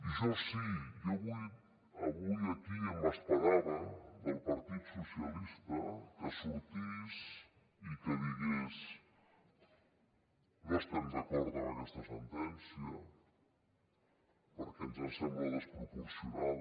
i jo sí jo avui aquí m’esperava del partit dels socialistes que sortís i que digués no estem d’acord amb aquesta sentència perquè ens sembla desproporcionada